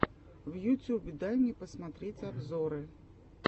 в ютюбе дай мне посмотреть обзоры